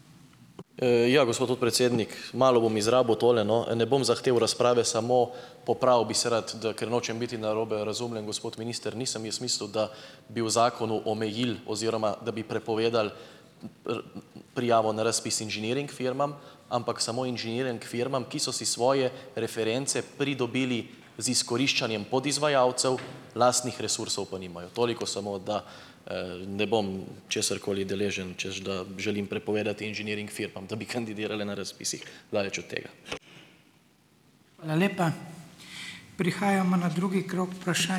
Ja, gospod podpredsednik. Malo bom izrabil tole, no. Ne bom zahteval razprave, samo popravil bi se rad, da, ker nočem biti narobe razumljen, gospod minister, nisem jaz mislil, da bi v zakonu omejili oziroma da bi prepovedali r prijavo na razpis inženiring firmam, ampak samo inženiring firmam, ki so si svoje reference pridobili z izkoriščanjem podizvajalcev, lastnih resursov pa nimajo. Toliko samo, da ne bom česarkoli deležen, češ da želim prepovedati inženiring firmam, da bi kandidirale na razpisih. Daleč od tega.